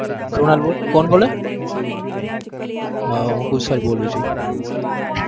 કૃણાલ બોલે? કોણ બોલે? હા હુઁ કુશાલ બોલું છું.